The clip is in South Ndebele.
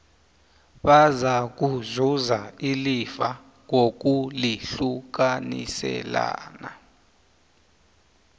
bazakuzuza ilifa ngokulihlukaniselana